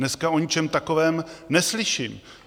Dneska o ničem takovém neslyším.